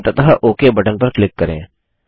अंततः okay button पर click करें